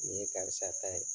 Nin ye karisa ta ye